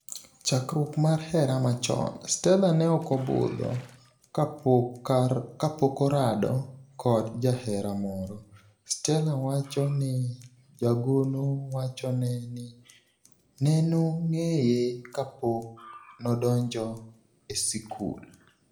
Chakruok mar hera machon, Stella neokobudho kapokorado kod jahera moro, Stella wacho ni jagono wachone ni nenong'eye ka pok nodonjo e sikul.